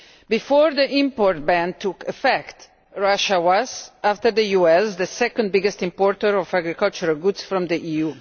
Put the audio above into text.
Before the import ban took affect, Russia was, after the US, the second biggest importer of agricultural goods from the EU.